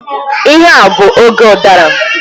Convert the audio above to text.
Ihe a bụ oge udara.